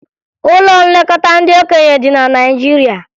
Ụlọ nlekọta ndị okenye dị na Naịjirịa